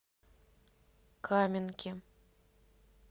каменки